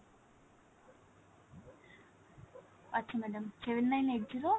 আচ্ছা madam seven nine eight zero